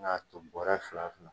Nka tun bɔra fila fila.